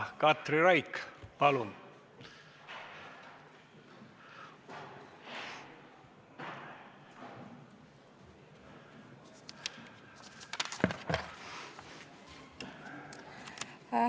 Katri Raik, palun!